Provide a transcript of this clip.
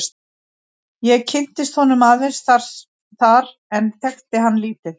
Ég kynntist honum aðeins þar en þekkti hann lítið.